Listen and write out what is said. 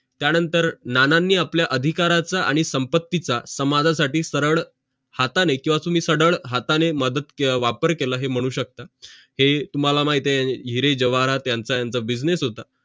त्यानंतर नानांनी आपल्या अधिकारच आणि संपत्तीचं समाजासाठी सरळ हाताने किंवा तुम्ही सरळ हाताने मदत किंवा वापर केलं हे मनू शकता है तुम्हाला माहित हिरे ज्वरात याचा business होत